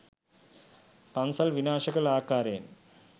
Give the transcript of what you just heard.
පන්සල් විනාශ කළ ආකාරයෙන්..